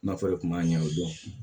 Nafolo kun b'a ɲɛ o dɔn